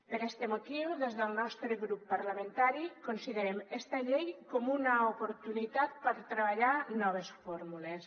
per este motiu des del nostre grup parlamentari considerem esta llei com una oportunitat per treballar noves fórmules